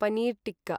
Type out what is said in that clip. paneer tikka